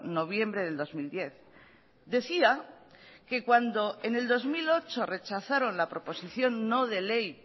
noviembre del dos mil diez decía que cuando en el dos mil ocho rechazaron la proposición no de ley